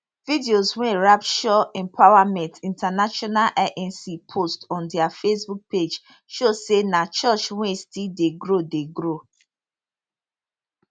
videos wey rapture empowerment intl inc post on dia facebook page show say na church wey still dey grow dey grow